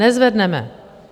Nezvedneme.